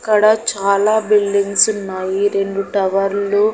ఇక్కడ చాలా బిల్డింగ్స్ ఉన్నాయి రెండు టవర్లు --